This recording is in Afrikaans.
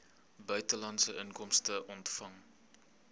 buitelandse inkomste ontvang